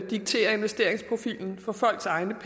diktere investeringsprofilen for folks egne